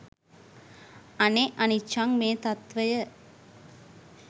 අනේ අනිච්චං මේ තත්වය